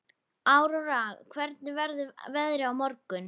Aurora, hvernig verður veðrið á morgun?